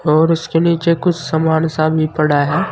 और उसके नीचे कुछ समान सा भी पड़ा है।